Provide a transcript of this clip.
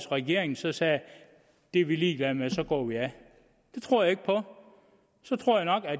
regeringen så sagde det er vi ligeglade med så går vi af det tror jeg ikke på så tror jeg nok